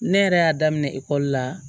Ne yɛrɛ y'a daminɛ ekɔli la